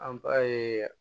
An ba ye